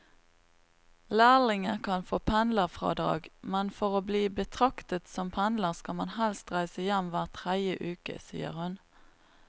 Lærlinger kan få pendlerfradrag, men for å bli betraktet som pendler skal man helst reise hjem hver tredje uke, sier hun.